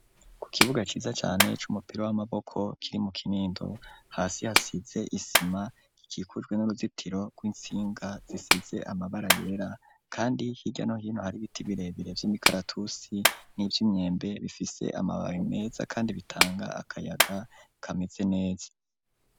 Ku kibuga ciza cane c'umupira w'amaboko kiri mu Kinindo hasi hasize isima ikikujwe n'uruzitiro kw'intsinga zisize amabara yera, kandi hirya no hino hari biti birebire vy'imikaratusi n'ivy'imyembe bifise amababi meza kandi bitanga akayaga kameze neza.